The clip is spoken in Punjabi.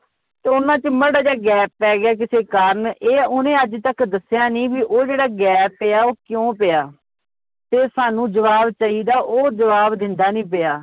ਤੇ ਉਹਨਾਂ ਚ ਮਾੜਾ ਜਿਹਾ gap ਪੈ ਗਿਆ ਕਿਸੇ ਕਾਰਨ ਇਹ ਓਹਨੇ ਅੱਜ ਤੱਕ ਦੱਸਿਆ ਨੀ ਵੀ ਉਹ ਜਿਹੜਾ gap ਪਿਆ ਉਹ ਕਿਉਂ ਪਿਆ, ਤੇ ਸਾਨੂੰ ਜਵਾਬ ਚਾਹੀਦਾ ਉਹ ਜਵਾਬ ਦਿੰਦਾ ਨੀ ਪਿਆ